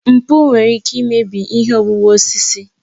Mkpu nwere ike imebi ihe owuwu osisi.